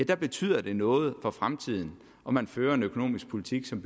betyder det noget for fremtiden om man fører en økonomisk politik som